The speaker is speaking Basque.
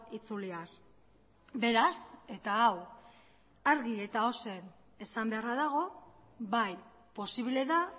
itzuliaz beraz eta hau argi eta ozen esan beharra dago bai posible da